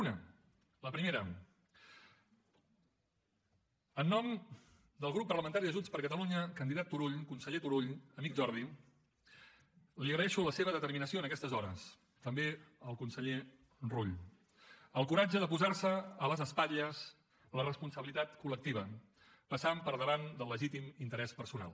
una la primera en nom del grup parlamentari de junts per catalunya candidat turull conseller turull amic jordi li agraeixo la seva determinació en aquestes hores també al conseller rull el coratge de posar se a les espatlles la responsabilitat col·lectiva passant per davant del legítim interès personal